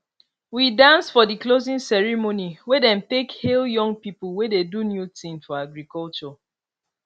we dance for di closing ceremony wey dem take hail young pipo wey dey do new ting for agriculture